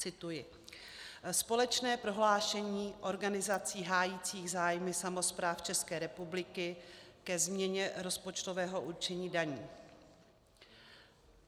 Cituji: "Společné prohlášení organizací hájících zájmy samospráv České republiky ke změně rozpočtového určení daní.